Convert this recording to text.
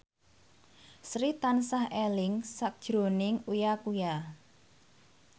Sri tansah eling sakjroning Uya Kuya